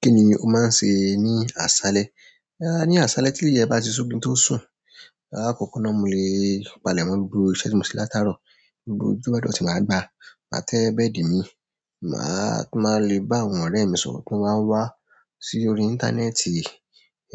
Kí ni o máa ń ṣe ní àṣálẹ́? Ní àṣálẹ́ tí ilẹ̀ bá ti ṣú kí n tó sùn, àkọ́kọ́ náà mo lè palẹ̀ mọ́ ibùdó iṣẹ́ tí mo ṣí láti àárọ̀, ibùdó ojúbọdọ̀ tí màá gbà á. Màá tẹ́ bẹ́ẹ̀dì mi, màá tún má lè bá àwọn ọ̀rẹ́ mi sọ̀rọ̀ tí wọ́n wá wá sí orí íńtánẹ́ẹ̀tì,